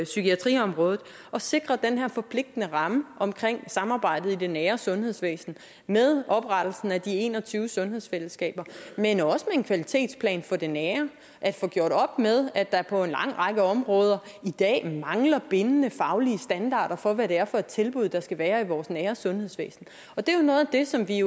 psykiatriområdet at sikre den her forpligtende ramme om samarbejdet i det nære sundhedsvæsen med oprettelsen af de en og tyve sundhedsfællesskaber men også med en kvalitetsplan for det nære at få gjort op med at der på en lang række områder i dag mangler bindende faglige standarder for hvad det er for et tilbud der skal være i vores nære sundhedsvæsen og det er jo noget af det som vi